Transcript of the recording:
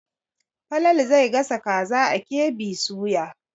Falalu zai gasa kaza a KB soya.